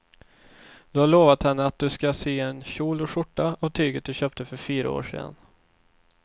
Du har lovat henne att du ska sy en kjol och skjorta av tyget du köpte för fyra år sedan.